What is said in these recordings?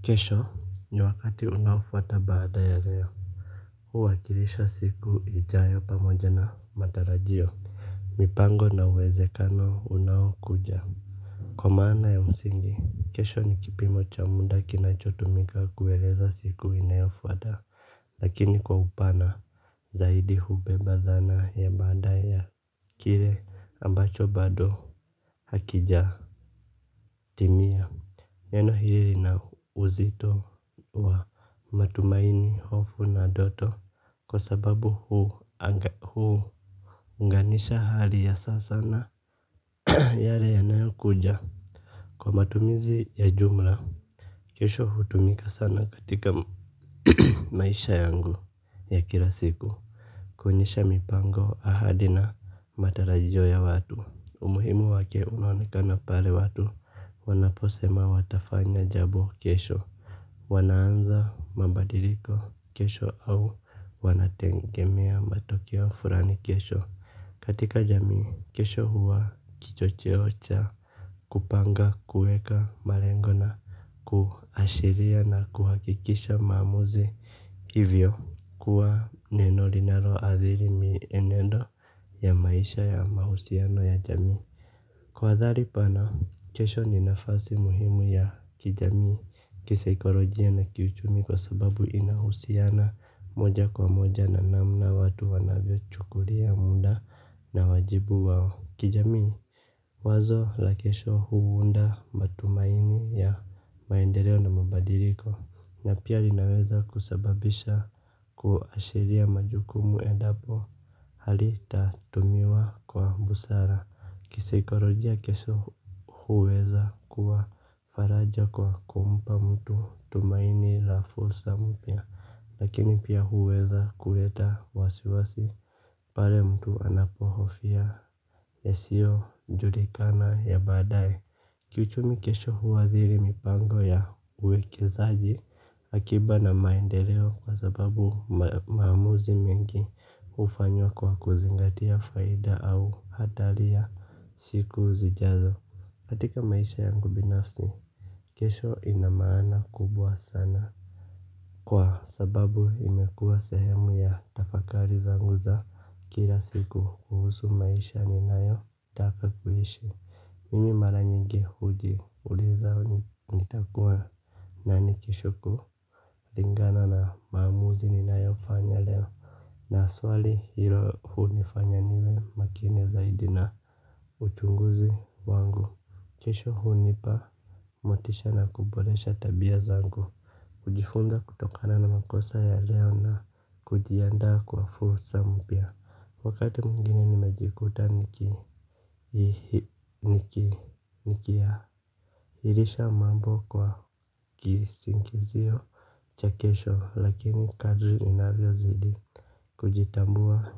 Kesho ni wakati unafuata baada ya leo. Huu wakilisha siku ijayo pamoja na matarajio mipango na uwezekano unao kuja kwa maana ya msingi kesho ni kipimo cha munda kinachotumika kuweleza siku inayofuata. Lakini kwa upana zaidi hubemba dhana ya baada ya kire ambacho bado hakija timia. Neno hiriri na uzito wa matumaini, hofu na doto kwa sababu huu anga huu. Nganisha hali ya sasa na yale yanayo kuja. Kwa matumizi ya jumla, kesho hutumika sana katika maisha yangu ya kila siku kuonyesha mipango ahadi na matarajio ya watu. Umuhimu wake unaonekana pale watu wanaposema watafanya jabo kesho. Wanaanza mabadiliko kesho au wanatengemea matokeo furani kesho. Katika jamii, kesho huwa kichocheo cha kupanga, kueka, marengo na kuashiria na kuhakikisha maamuzi ivyo kuwa neno linalo athiri mienendo ya maisha ya mahusiano ya jamii. Kwa wadhali pana, kesho ni nafasi muhimu ya kijamii, kisaikolojia na kiuchumi kwa sababu inahusiana moja kwa moja na namna watu wanavyo chukulia munda na wajibu wao. Kijamii, wazo la kesho huunda matumaini ya maendeleo na mubadiriko, na pia linaweza kusababisha kuashiria majukumu edapo hali tatumiwa kwa busara. Kisikarojia kesho huweza kuwa faraja kwa kumpa mtu tumaini la fulsa mpya. Lakini pia huweza kuleta wasiwasi. Pale mtu anapohofia yasio julikana ya badae. Kichumi kesho huwadhiri mipango ya uwekezaji. Akiba na maendeleo kwa sababu maamuzi mengi ufanyw kwa kuzingatia faida au hatali ya shiku zijazo katika maisha yangu binafsi. Kesho ina maana kubwa sana. Kwa sababu imekuwa sehemu ya tafakari za nguzo kila siku kuhusu maisha ni nayo taka kuishi. Mimi mara nyingi hujiuliza nitakuwa nani kesho huku lingana na maamuzi ni nayo fanya leo na swali hilo huu nifanya niwe makini zaidi na uchunguzi wangu kesho hunipa motisha na kuboresha tabia zangu. Ujifunza kutokana na makosa ya leo na kujianda kwa fursa mpya. Wakati mwingini nimejikuta nikiailisha mambo kwa kisingizio cha kesho lakini kadri inavyo zidi kujitambua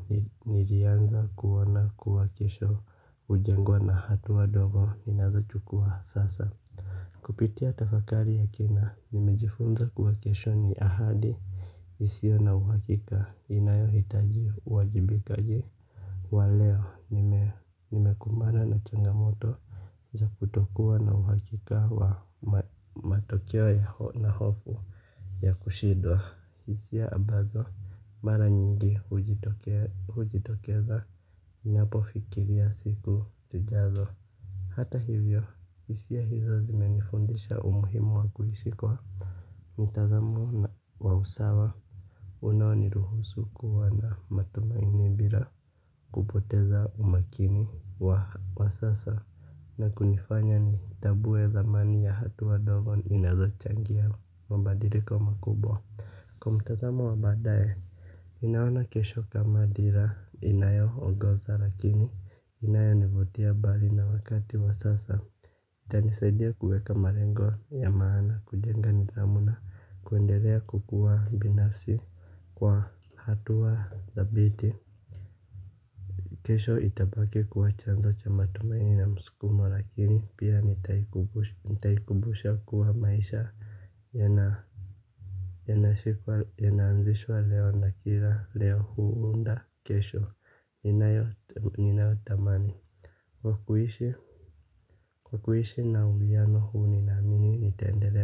nirianza kuona kuwa kesho ujengwa na hatua ndogo ninazo chukua sasa. Kupitia tafakari yake na nimejifunza kuwa kesho ni ahadi. Isio na uhakika inayo hitaji uwajibikaji. Wa leo nimekumbana na changamoto za kutokuwa na uhakika wa matokeo ya hofu ya kushindwa hisia ambazo maranyingi hutokea hujitokeza ninapo fikiria siku sijazo. Hata hivyo hisia hizo zime nifundisha umuhimu wa kuhishi kwa mitazamo wa usawa unao ni ruhusu kuwa na matumaini bira kupoteza umakini wa sasa na kunifanya ni tabue dhamani ya hatu wa dogo inazo changia mabadiliko makubwa. Kwa mtazamo wa badaye ninaona kesho kama dhira inayo ongoza lakini inayo nivutia bali na wakati wa sasa. Itanisaidia kuweka malengo ya maana kujenga nithamu na kuendelea kukuwa binafsi kwa hatua thabiti. Kesho itabaki kuwa chanzo cha matumaini na muskumo lakini pia nitaikubusha kuwa maisha yanaanzishwa leo na kila leo hunda kesho. Ninayo tamani kwa kuishi kwa kuishi na uliano huu ni na mini nitendelea.